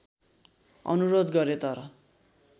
अनुरोध गरे तर